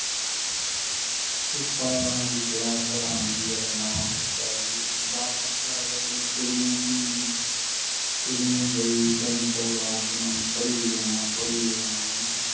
ਸਾਰੀ class ਹੈਰਾਨ ਸੀ ਵੀ ਜਿਹੜਾ ਨਾਵਾਂ ਬਚਾ ਆਯਾ ਉਹ ਕਿੱਦਾਂ ਫਸਟ ਆਗਿਆ ਜਿੰਨੇ ਪੜ੍ਹੀ ਜਾਣਾ ਪੜ੍ਹੀ ਜਾਣਾ